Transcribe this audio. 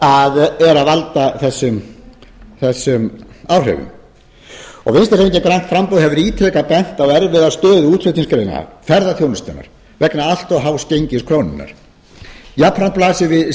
sem er að valda þessum áhrifum vinstri hreyfingin grænt framboð hefur ítrekað bent á erfiða stöðu útflutningsgreina ferðaþjónustunnar vegna allt of hás gengis krónunnar jafnframt blasir við